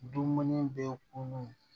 Dumuni bɛ kunun